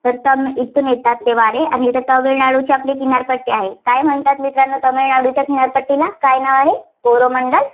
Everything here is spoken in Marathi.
येथून येतात ते वारे आणि तामिळनाडूची आपली किनारपट्टी आहे, काय म्हणतात मित्रांनो तामिळनाडूच्या किनारपट्टीला? काय नाव आहे? कोरोमंडल